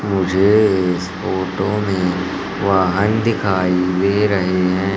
मुझे इस फोटो में वाहन दिखाई दे रहे हैं।